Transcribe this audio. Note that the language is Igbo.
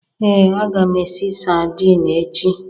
Ee, aga m esi sardine echi.